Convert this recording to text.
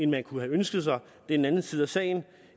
man kunne have ønsket sig er en anden side af sagen